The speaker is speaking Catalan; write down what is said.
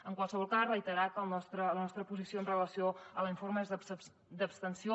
en qualsevol cas reiterar que la nostra posició amb relació a l’informe és d’abstenció